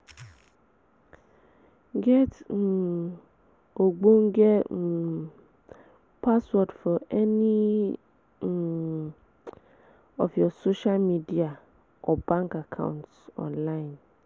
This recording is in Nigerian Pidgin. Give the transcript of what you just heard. Get um ogbonge um password for any um of your social media or bank accounts online